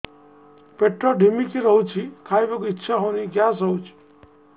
ପେଟ ଢିମିକି ରହୁଛି ଖାଇବାକୁ ଇଛା ହଉନି ଗ୍ୟାସ ହଉଚି